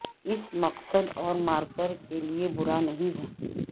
اس مقصد اور مارکر کے لئے برا نہیں ہے